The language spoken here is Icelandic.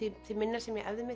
því minna sem ég æfði